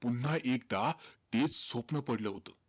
पुन्हा एकदा तेचं स्वप्न पडलं होतं.